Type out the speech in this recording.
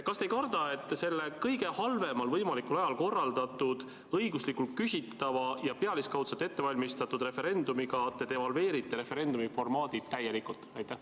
Kas te ei karda, et selle kõige halvemal võimalikul ajal korraldatud, õiguslikult küsitava ja pealiskaudselt ettevalmistatud referendumiga te devalveerite referendumi formaadi täielikult?